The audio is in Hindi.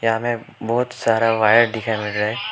यहां में बहोत सारा वायर दिखा लग रहा है।